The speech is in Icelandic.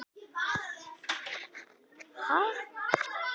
Gnitaheiði er ekki til sem örnefni á Íslandi en kemur fyrir í bókartitli.